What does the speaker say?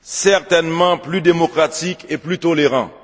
certainement plus démocratique et plus tolérant.